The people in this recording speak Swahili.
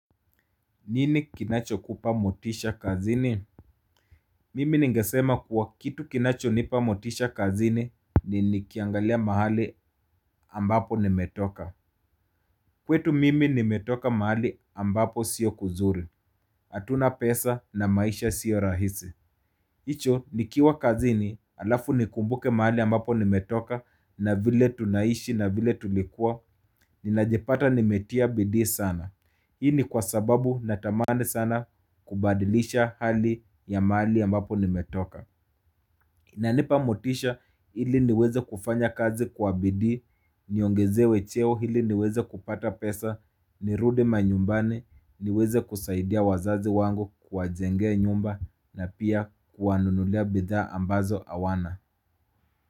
Nini kinachokupa motisha kazini? Mimi ningesema kuwa kitu kinachonipa motisha kazini ni nikiangalia mahali ambapo nimetoka. Kwetu mimi nimetoka mahali ambapo sio kuzuri. Hatuna pesa na maisha sio rahisi. Hicho nikiwa kazini alafu nikumbuke mahali ambapo nimetoka na vile tunaishi na vile tulikua. Ninajepata nimetia bidii sana. Hii ni kwa sababu natamani sana kubadilisha hali ya mahali ambapo nimetoka inanipa motisha ili niweze kufanya kazi kwa bidii, niongezewe cheo hili niweze kupata pesa, nirudi manyumbani, niweze kusaidia wazazi wangu kuwajengea nyumba na pia kuwanunulia bidhaa ambazo awana.